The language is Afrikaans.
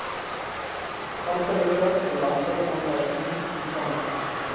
amptelike belastingaanwysing ontvang